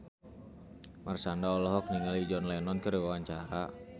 Marshanda olohok ningali John Lennon keur diwawancara